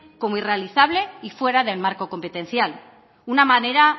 como irrealizable y fuera del marco competencial una manera